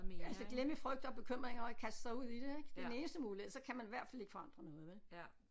Altså glemme frygt og bekymringer og kaste sig ud i det ik det er den eneste mulighed så kan man i hvert fald ikke forandre noget vel